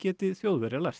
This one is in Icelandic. geti Þjóðverjar lært